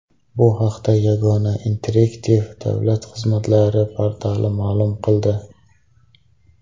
Bu haqda Yagona interaktiv davlat xizmatlari portali ma’lum qildi .